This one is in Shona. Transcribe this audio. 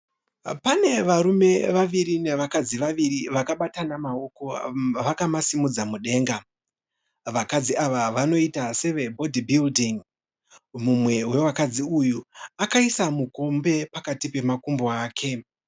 Pane varume vaviri nevakadzi vaviri vakabatana maoko vakamasimudza mudenga. Vakadzi ava vanoita seve Body Building. Mumwe wevakadzi uyu akaisa mukombe pakati pemakumbo ake.